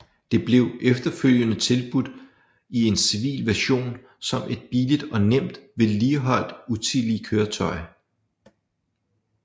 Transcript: Det blev efterfølgende tilbudt i en civil version som et billigt og nemt vedligeholdt utility køretøj